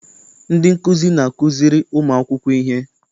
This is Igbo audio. Ndị nkụzi na-akụziri ụmụ akwụkwọ ihe.